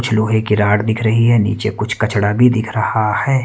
कुछ लोहे की रॉड दिख रही है नीचे कुछ कचड़ा भी दिख रहा है।